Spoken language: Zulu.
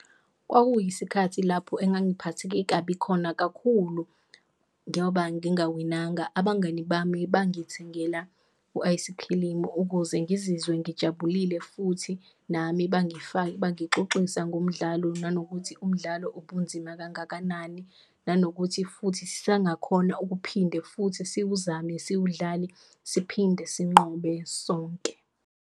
Kwakuyisikhathi lapho engangiphatheke kabi khona kakhulu ngoba ngingawinanga, abangani bami bangithengela u-ayisikhilimu ukuze ngizizwe ngijabulile futhi nami bangifake, bangixoxisa ngomdlalo. Nanokuthi umdlalo ubunzima kangakanani, nanokuthi futhi sangakhona ukuphinde futhi siwuzame, siwudlale siphinde sinqobe sonke.